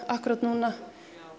akkúrat núna